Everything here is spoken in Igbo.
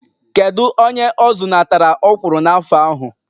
Kedụ onye ọ zụnatara ọkwụrụ n'afọ ahụ?